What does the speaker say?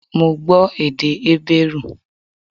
Mo gbọ́ èdè Hébérù